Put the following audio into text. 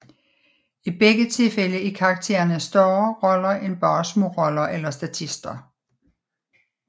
I begge tilfælde er karaktererne større roller end bare småroller eller statister